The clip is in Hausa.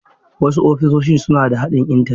Wasu ofisoshin suna da haɗin Intanet.